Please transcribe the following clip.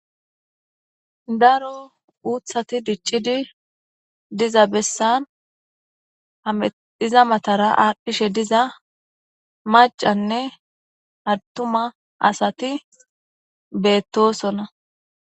daro uuthati diccidi diza bessan hamedhiza matara aadddhishe diza macanne adtuma asati beettosona